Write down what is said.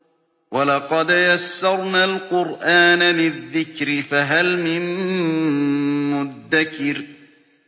وَلَقَدْ يَسَّرْنَا الْقُرْآنَ لِلذِّكْرِ فَهَلْ مِن مُّدَّكِرٍ